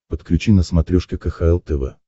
подключи на смотрешке кхл тв